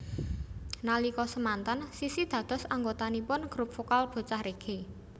Nalika semanten Sissy dados anggotanipun grup vokal Bocah Reggae